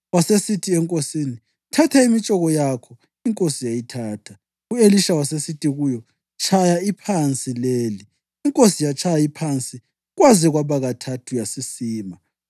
Wasesithi enkosini, “Thatha imitshoko yakho,” inkosi yayithatha. U-Elisha wasesithi kuyo, “Tshaya iphansi leli,” inkosi yatshaya iphansi kwaze kwaba kathathu yasisima.